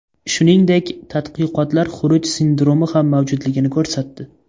Shuningdek, tadqiqotlar xuruj sindromi ham mavjudligini ko‘rsatdi.